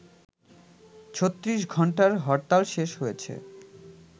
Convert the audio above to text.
৩৬ ঘণ্টার হরতাল শেষ হয়েছে